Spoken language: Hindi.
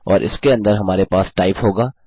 और इसके अंदर हमारे पास टाइप होगा